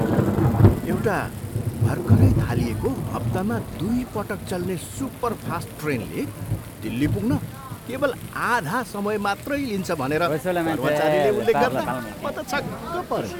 एउटा भर्खरै थालिएको हप्तामा दुईपटक चल्ने सुपरफास्ट ट्रेनले दिल्ली पुग्न केवल आधा समय मात्रै लिन्छ भनेर कर्मचारीले उल्लेख गर्दा म त छक्क परेँ।